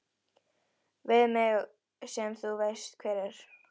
Við mig sem þú veist hver er.